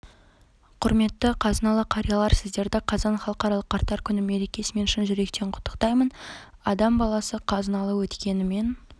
құрметті қазыналы қариялар сіздерді қазан халықаралық қарттар күні мерекесімен шын жүректен құттықтаймын адам баласы қазыналы өткенімен